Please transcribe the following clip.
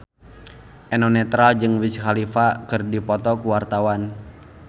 Eno Netral jeung Wiz Khalifa keur dipoto ku wartawan